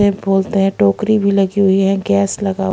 बोलते हैं टोकरी भी लगी हुई है गैस लगा--